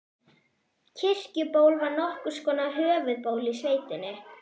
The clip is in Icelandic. Kirkjuból var nokkurs konar höfuðból í sveitinni.